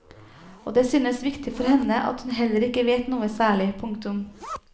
Og det synes viktig for henne at hun heller ikke vet noe særlig. punktum